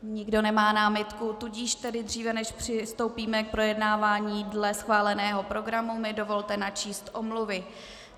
Nikdo nemá námitku, tudíž tedy dříve než přistoupíme k projednávání dle schváleného programu, mi dovolte načíst omluvy.